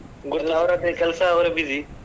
ಕೆಲ್ಸ ಅವರೇ busy .